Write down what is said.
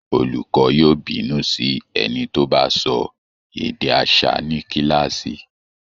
Olùkọọ́ yóò bínú sí ẹni tó bá sọ èdè aṣa ní kíláàsì